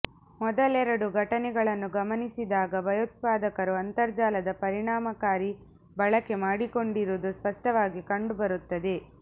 ಮೊದಲೆರಡು ಘಟನೆಗಳನ್ನು ಗಮನಿಸಿದಾಗ ಭಯೋತ್ಪಾದಕರು ಅಂತರ್ಜಾಲದ ಪರಿಣಾಮಕಾರಿ ಬಳಕೆ ಮಾಡಿಕೊಂಡಿರುವುದು ಸ್ಪಷ್ಟವಾಗಿ ಕಂಡುಬರುತ್ತದೆ